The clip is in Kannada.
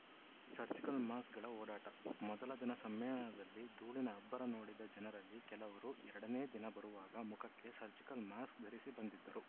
ಸರ್ಜಿಕಲ್‌ ಮಾಸ್ಕುಗಳ ಓಡಾಟ ಮೊದಲ ದಿನ ಸಮ್ಮೇಳನದಲ್ಲಿ ಧೂಳಿನ ಅಬ್ಬರ ನೋಡಿದ ಜನರಲ್ಲಿ ಕೆಲವರು ಎರಡನೇ ದಿನ ಬರುವಾಗ ಮುಖಕ್ಕೆ ಸರ್ಜಿಕಲ್‌ ಮಾಸ್ಕ್‌ ಧರಿಸಿ ಬಂದಿದ್ದರು